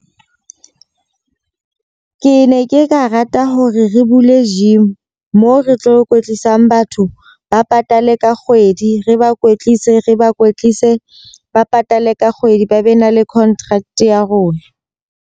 Ke ne ke ka rata hore re bule gym. Moo re tlo kwetlisang batho ba patale ka kgwedi. Re ba kwetlise, re ba kwetlise ba patale ka kgwedi. Ba be na le contract ya rona.